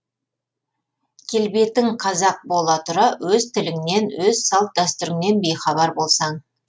келбетін қазақ бола тұра өз тіліннен өз салт дәстүріннен бейхабар болсаң